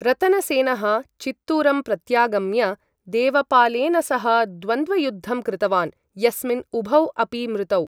रतनसेनः चित्तूरम् प्रत्यागम्य, देवपालेन सह द्वन्द्वयुद्धं कृतवान्, यस्मिन् उभौ अपि मृतौ।